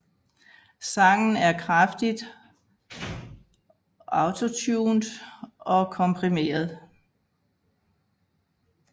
Sangen er kraftigt autotuned og komprimeret